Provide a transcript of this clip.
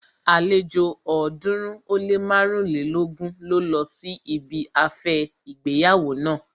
Àlejò ọ̀ọ́dúnrún ó lé márùnlélógún ló lọ sí ibi afẹ́ ìgbéyàwó naa